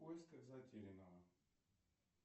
в поисках затерянного